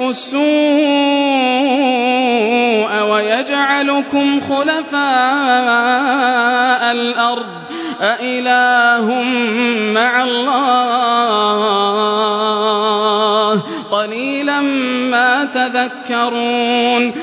السُّوءَ وَيَجْعَلُكُمْ خُلَفَاءَ الْأَرْضِ ۗ أَإِلَٰهٌ مَّعَ اللَّهِ ۚ قَلِيلًا مَّا تَذَكَّرُونَ